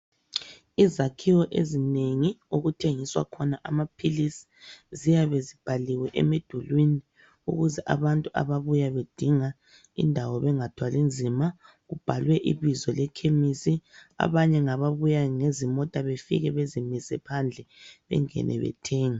Izakhiwo ezinengi okuthengiswa khona amaphilisi ziyabe zibhaliwe emidulwini ukuze abantu ababuya bedinga indawo bengathwali nzima kubhalwe ibizo lekhemisi. Abanye ngababuya ngezimota befike bezimise phandle bengene bethenge.